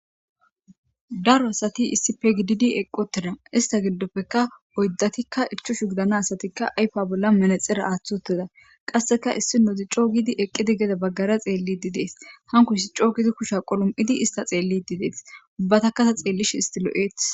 Daro asathi issipe gididi eqquuththida; issa giddoppekka oyddathika ichchashu gidana asathikka ayfa bollan manatsire aaththi7uththida; qassika issinozi coo giidi eqqizi gede baggara xeellidde de7ees; hankku issi coo giidi kushiya qalam7idi tseelliiddi des; ubbathakka tha theellishe issi lo7eeththes.